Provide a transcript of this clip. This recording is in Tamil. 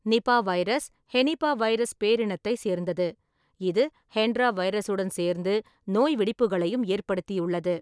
நிபா வைரஸ் ஹெனிபாவைரஸ் பேரினத்தை சேர்ந்தது, இது ஹெண்ட்ரா வைரஸுடன் சேர்ந்து, நோய் வெடிப்புகளையும் ஏற்படுத்தியுள்ளது.